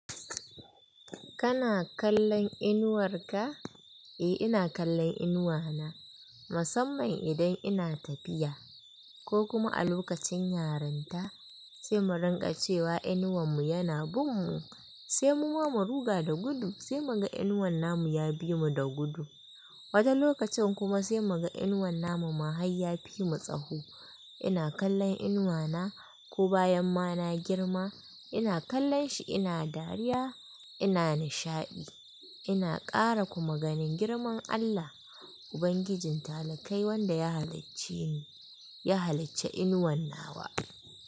Kana kallon inuwar ka? Eh, ina kallon inuwana musamman idan ina tafiya ko kuma a lokacin yarinta sai mu rinƙa cewa inuwan mu yana bin mu, sai muma mu ruga da gudu sai mu ga inuwan namu ya bi mu da gudu. Wata lokacin kuma sai mu ga inuwan namu ma har ya fi mu tsawo. Ina kallon inuwana ko bayan ma na girma ina kallon shi ina dariya ina nishaɗi ina ƙara kuma ganin girman Allah Ubangijin taliƙai wanda ya halacce ni, ya halicce inuwan na wa.